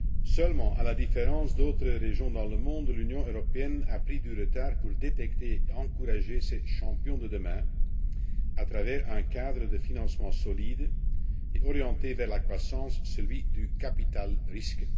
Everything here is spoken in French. Seulement, à la différence d'autres régions dans le monde, l'Union européenne a pris du retard pour détecter et encourager ces champions de demain à travers un cadre de financement solide et orienté vers la croissance, celui du capital risque.